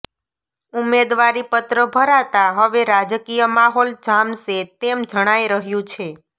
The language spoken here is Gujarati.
ઉમેદવારી પત્ર ભરાતા હવે રાજકીય માહોલ જામશે તેમ જણાય રહ્યુ છે